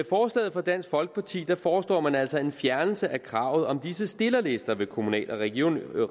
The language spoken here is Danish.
fra dansk folkeparti foreslår man altså en fjernelse af kravet om disse stillerlister ved kommunale og regionale valg